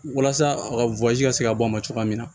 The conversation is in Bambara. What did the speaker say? Walasa a ka ka se ka bɔ a ma cogoya min na